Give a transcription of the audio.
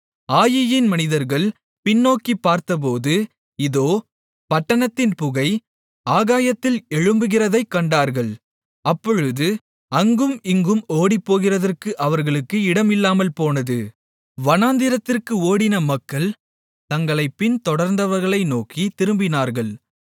ஆயீயின் மனிதர்கள் பின்நோக்கிப் பார்த்தபோது இதோ பட்டணத்தின் புகை ஆகாயத்தில் எழும்புகிறதைக் கண்டார்கள் அப்பொழுது அங்கும் இங்கும் ஓடிப்போகிறதற்கு அவர்களுக்கு இடம் இல்லாமல்போனது வனாந்திரத்திற்கு ஓடின மக்கள் தங்களைப் பின்தொடர்ந்தவர்களை நோக்கித் திரும்பினார்கள்